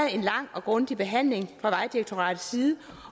en lang og grundig behandling fra vejdirektoratet side